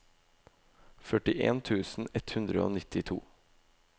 førtien tusen ett hundre og nittito